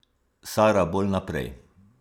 Sara bolj naprej!